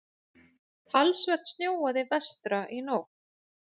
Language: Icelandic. Talsvert snjóaði vestra í nótt.